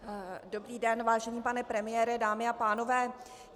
Dobrý den, vážený pane premiére, dámy a pánové.